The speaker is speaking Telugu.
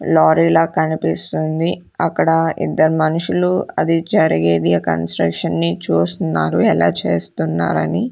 లారీ లా కనిపిస్తుంది అక్కడ ఇద్దరు మనుషులు అది జరిగేది ఆ కన్స్ట్రక్షన్ ని చూస్తున్నారు ఎలా చేస్తున్నారు అని --